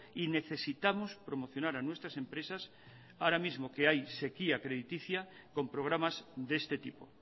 y necesitamos promocionar a nuestras empresas ahora mismo que hay sequía crediticia con programas de este tipo